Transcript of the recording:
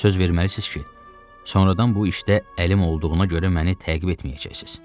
Söz verməlisiniz ki, sonradan bu işdə əlim olduğuna görə məni təqib etməyəcəksiniz.